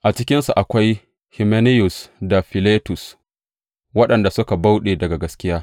A cikinsu akwai Himenayus da Filetus, waɗanda suka bauɗe daga gaskiya.